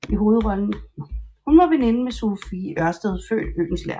Hun var veninde med Sophie Ørsted født Oehlenschlæger